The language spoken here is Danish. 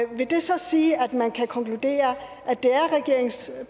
vil det så sige at man kan konkludere at det er regeringens